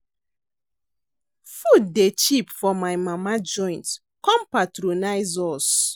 Food dey cheap for my mama joint, come patronize us.